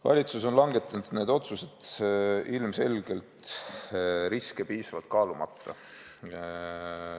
Valitsus on langetanud need otsused ilmselgelt riske piisavalt kaalumata.